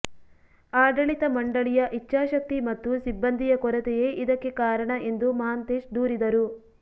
ಆಡಳಿತ ಮಂಡಳಿಯ ಇಚ್ಛಾಶಕ್ತಿ ಮತ್ತು ಸಿಬ್ಬಂದಿಯ ಕೊರತೆಯೇ ಇದಕ್ಕೆ ಕಾರಣ ಎಂದು ಮಹಾಂತೇಶ್ ದೂರಿದರು